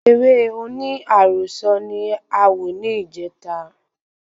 Eré oní àròsọ ni a wò ni ìjeta